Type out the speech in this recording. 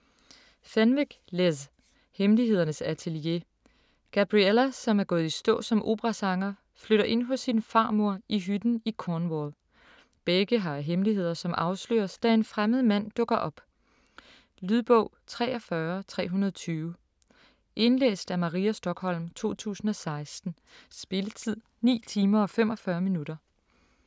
Fenwick, Liz: Hemmelighedernes atelier Gabriella, som er gået i stå som operasanger, flytter ind hos sin farmor i hytten i Cornwall. Begge har hemmeligheder, som afsløres, da en fremmed mand dukker op. Lydbog 43320 Indlæst af Maria Stokholm, 2016. Spilletid: 9 timer, 45 minutter.